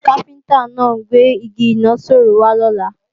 Káfíntá náà ń gbé Igi ìnaṣọró wá lọ́la